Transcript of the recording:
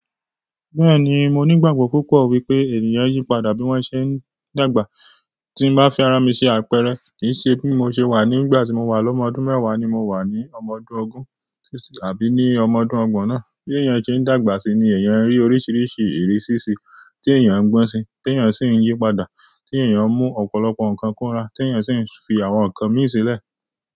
Bẹ́ẹ̀ni, mo ní ìgbàgbọ́ púpọ̀ wípé ènìyàn n yípadà bí wọ́n ṣe ń dàgbà. Ti n ba fẹ́ ara mi se àpẹẹrẹ, kii se bi mo se wa nígbà ti mowa ni ọmọ ọdún mewa ni mo wa ni ọmọ ọdún ogun, àbí ọmọ ọdún ogbon náà bí èèyàn ṣe ń dàgbà síi ni èèyàn rí oríṣiríṣi ìrísí síí, tí èèyàn ń gbọ́n síí, tí èèyàn sì ń yípadà, tí èèyàn mú ọ̀pọ̀lọpọ̀ nǹkan kúnra, tí èèyàn sì ń fi àwọn nǹkan mì sílẹ̀.